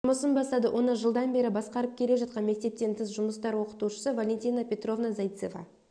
жұмысын бастады оны жылдан бері басқарып келе жатқан мектептен тыс жұмыстар оқытушысы валентина петровна зайцева